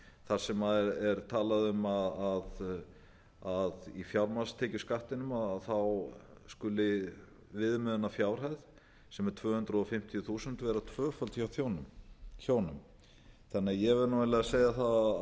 þar sem er talað um að í fjármagnstekjuskattinum skuli viðmiðuanrfjárhæðsem er tvö hundruð fimmtíu þúsund vera tvöföld hjá hjónum ég verð því eiginlega að segja það